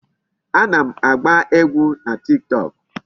Ana m agba egwu na Tiktok.